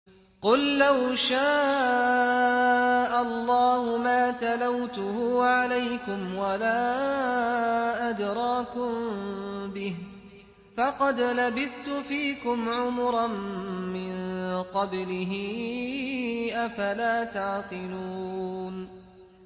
قُل لَّوْ شَاءَ اللَّهُ مَا تَلَوْتُهُ عَلَيْكُمْ وَلَا أَدْرَاكُم بِهِ ۖ فَقَدْ لَبِثْتُ فِيكُمْ عُمُرًا مِّن قَبْلِهِ ۚ أَفَلَا تَعْقِلُونَ